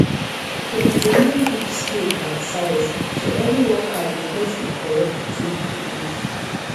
dem dey name each spade by size so every worker go get the correct tool to use